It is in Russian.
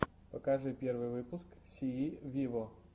покажи первый выпуск сии виво